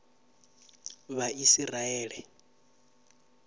vhaisiraele